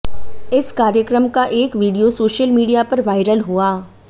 इस कार्यक्रम का एक वीडियो सोशल मीडिया पर वायरल हुआ